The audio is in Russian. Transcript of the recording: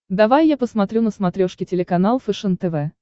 давай я посмотрю на смотрешке телеканал фэшен тв